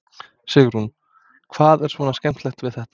Sigrún: Hvað er svona skemmtilegt við þetta?